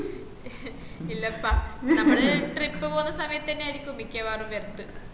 ഇല്ലപ്പ നമ്മള trip പോവ്ന്ന സമയത്തന്നായര്ക്കും മിക്കവാറും വെർത്തു